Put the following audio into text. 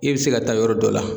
I bɛ se ka taa yɔrɔ dɔ la